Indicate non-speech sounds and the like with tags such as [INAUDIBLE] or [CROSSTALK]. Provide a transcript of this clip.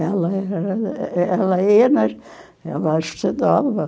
Ela [UNINTELLIGIBLE] ela ia mas, não estudava.